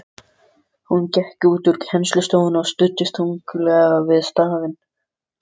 Hún gekk út úr kennslustofunni og studdist þunglega við stafinn.